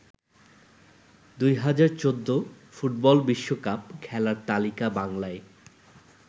২০১৪ football বিশ্ব cup খেলার তালিকা বাংলায়